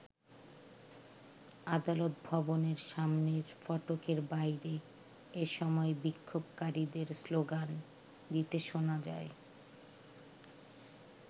আদালত ভবনের সামনের ফটকের বাইরে এ সময় বিক্ষোভকারীদের স্লোগান দিতে শোনা যায়।